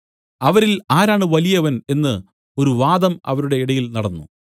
അവരിൽ ആരാണ് വലിയവൻ എന്നു ഒരു വാദം അവരുടെ ഇടയിൽ നടന്നു